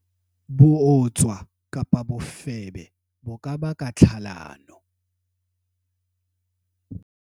bootswa, bofebe bo ka baka tlhalano